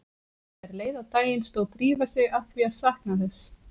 Þegar leið á daginn stóð Drífa sig að því að sakna þess